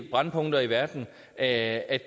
at